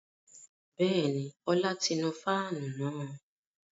Bẹ́ẹ̀ni, Ọlá ti nu fáànù náà